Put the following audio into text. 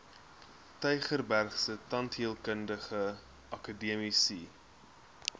tygerbergse tandheelkundige akademiese